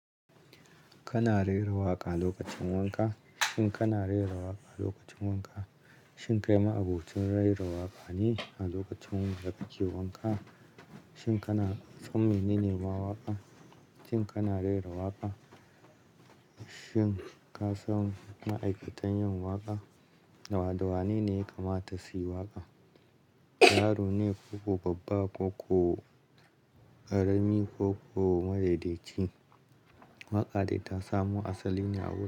Kana rera waƙa lokacin wanka? Shin kana rera waƙa lokacin wanka? Shin kai ma'abocin rera waƙa ne a lokacin da kake wanka? Shin ka son menene ma waƙa? Shin kana rera waƙa? Shin kasan ma'aikatan yin waƙa? Dawa dawa nene ya kamata suyi waƙa? Yaro ne koko babba koko ƙarami koko madaidaici, waƙa dai ta samo asaline a wurin.